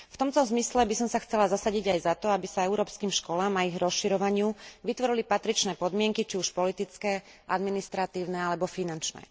V tomto zmysle by som sa chcela zasadiť aj za to, aby sa európskym školám a ich rozširovaniu vytvorili patričné podmienky, či už politické, administratívne alebo finančné.